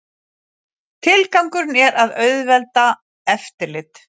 Tilgangurinn er að auðvelda eftirlit